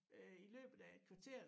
Øh i løbet af et kvarter